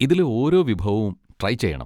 ഇതിലെ ഓരോ വിഭവവും ട്രൈ ചെയ്യണം.